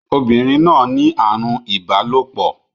Obìnrin náà ní àrùn ìbálòpọ̀.